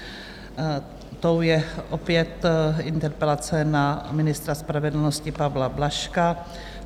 Tou je opět interpelace na ministra spravedlnosti Pavla Blažka.